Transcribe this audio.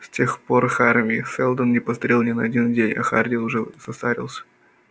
с тех пор харви сэлдон не постарел ни на один день а хардин уже состарился